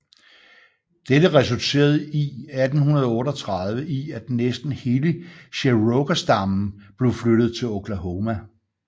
Dette resulterede i 1838 i at næsten hele cherokeserstammen blev flyttet til Oklahoma